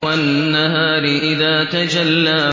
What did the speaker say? وَالنَّهَارِ إِذَا تَجَلَّىٰ